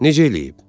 Necə eləyib?